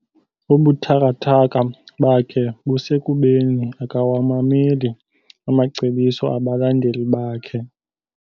Ubuthakathaka bakhe busekubeni akawamameli amacebiso abalandeli bakhe.